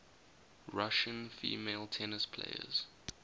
russian female tennis players